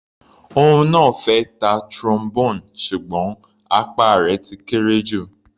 Òun náà fẹ́ ta Trombone ṣùgbọ́n apá rẹ̀ ti kéré jù.